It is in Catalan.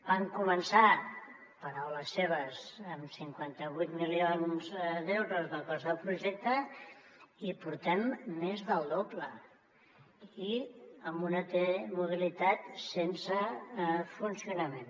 van començar paraules seves amb cinquanta vuit milions d’euros de cost del projecte i en portem més del doble i amb una t mobilitat sense funcionament